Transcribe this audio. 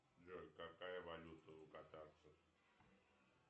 джой какая валюта у катарцев